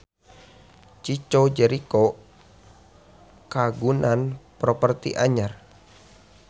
Chico Jericho kagungan properti anyar